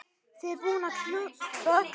Vera búinn að klúðra öllu.